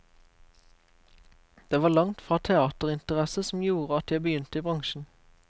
Det var langt fra teaterinteresse som gjorde at jeg begynte i bransjen.